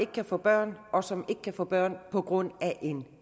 kan få børn og som ikke kan få børn på grund af en